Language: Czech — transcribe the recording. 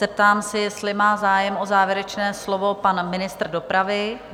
Zeptám se, jestli má zájem o závěrečné slovo pan ministr dopravy?